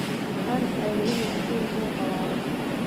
Waxan aade ina Abahey soohawalo.